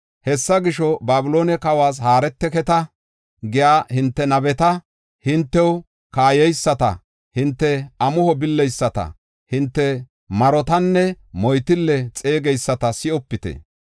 Hessa gisho, ‘Babiloone kawas haareteketa’ giya hinte nabeta, hintew kaayeyisata, hinte amuho billeyisata, hinte marotanne moytille xeegeyisata si7opite.